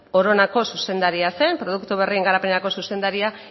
oronako zuzendaria zen produktu berrien garapenerako zuzendaria